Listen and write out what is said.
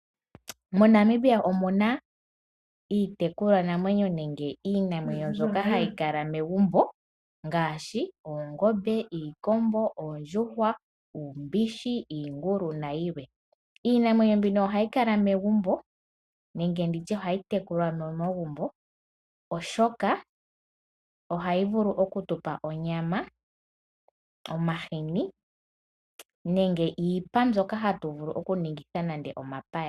MoNamibia omuna iitekulwanamwenyo nenge iinamwenyo mbyoka hayi kala megumbo ngaashi oongombe, iikombo, oondjuhwa, uumbishi, iingulu nayilwe. Iinamwenyo mbino ohayi kala megumbo nenge ohayi tekulwa momagumbo molwaashoka ohayi vulu okutupa onyama, omahini nenge iipa mbyoka hayi ningithwa omapaya nayilwe.